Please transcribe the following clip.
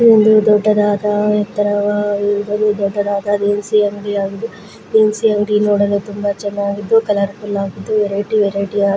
ಒಂದು ದೊಡ್ಡದಾದ ಎತ್ತರವಾಗಿ ದೊಡ್ಡದಾದ ದಿನಸಿ ಅಂಗಡಿಯಾಗಿದೆ ದಿನಸಿ ಅಂಗಡಿ ನೋಡಲು ತುಂಬಾ ಚೆನ್ನಾಗಿದೆ ಕಲರ್ ಫುಲ್ ಆಗಿದೆ ವೆರೈಟಿ ವೆರೈಟಿ ಆಗಿ --